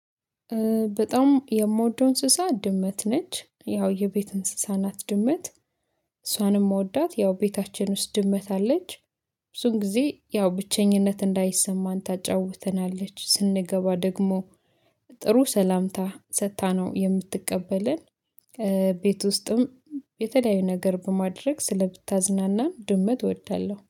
በጣም የምወደው እንስሳ ድመት ነች ያው የቤት እንስሳ ናት ድመት እሷንም እምወዳት ያው ቤታችን ውስጥ ድመት አለች። ብዙን ጊዜ ያው ብቸኝነት እንዳይሰማን ታጫውተናለች ስንገባ ደግሞ ጥሩ ሰላምታ ሰጥታ ነው የምትቀበለን። ቤት ውስጥም የተለያዩ ነገር በማድረግ ስለመታዝናናን ድመት እወዳለሁ